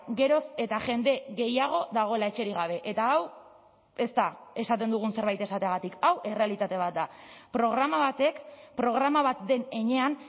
geroz eta jende gehiago dagoela etxerik gabe eta hau ez da esaten dugun zerbait esateagatik hau errealitate bat da programa batek programa bat den heinean